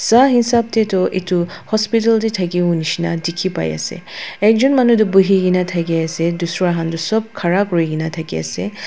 Sa hisap tetu etu hospital tey thakibo neshina dekhi pa ase ekjun manu tu bohe kena thaki ase dusra khan tu sop khara kuri kena thaki ase ha--